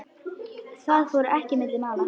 Það fór ekki milli mála.